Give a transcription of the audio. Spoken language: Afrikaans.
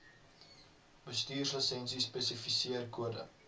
bestuurslisensie spesifiseer kode